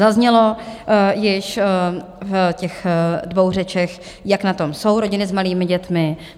Zaznělo již v těch dvou řečech, jak na tom jsou rodiny s malými dětmi.